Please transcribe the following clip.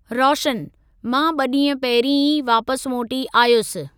रोशनः मां ॿ ॾींहं पहिरीं ई वापसि मोटी आयुसि।